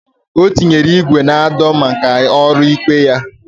O tinyere igwe na ado maka olu ikpụ ihe ya.